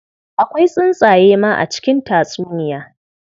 Akwai tsuntsaye ma a cikin tatsuniya.